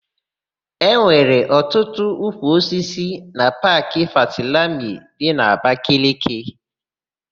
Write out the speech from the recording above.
E nwere ọtụtụ ukwuosisi na Paakị Fatilami dị n'Abakaliki.